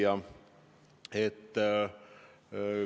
Hea küsija!